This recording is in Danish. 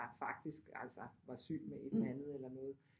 Var faktisk altså var syg med et eller andet eller noget